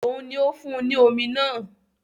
Òun ni ó fún un ní omi náà